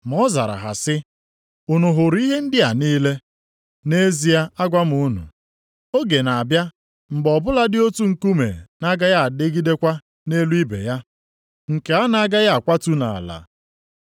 Ma ọ zara ha sị, “Unu hụrụ ihe ndị a niile? Nʼezie agwa m unu, oge na-abịa mgbe ọ bụladị otu nkume na-agaghị adịgidekwa nʼelu ibe ya, nke a na-agaghị akwatu nʼala.”